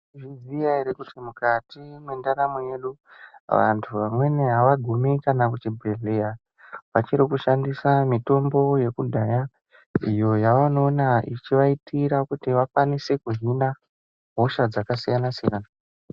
Tinoziya ere kuti mukati mendaramo yedu vantu vamweni avagumi kana kuchibhedhleya , vachiri kushandisa mitombo yekudhaya iyo yavanoona ichivaitira kuti vakwanise kuzvina hosha dzakasiyana siyana.